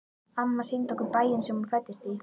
Amma sýndi okkur bæinn sem hún fæddist í.